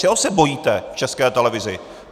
Čeho se bojíte v České televizi?